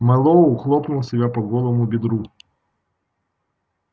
мэллоу хлопнул себя по голому бедру